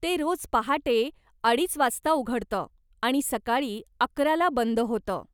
ते रोज पहाटे अडीच वाजता उघडतं आणि सकाळी अकरा ला बंद होतं.